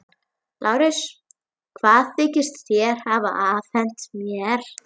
LÁRUS: Hvað þykist þér hafa afhent mér?